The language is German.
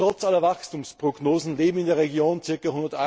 Doch trotz aller Wachstumsprognosen leben in der Region ca.